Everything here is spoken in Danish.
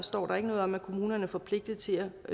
står noget om at kommunerne er forpligtet til at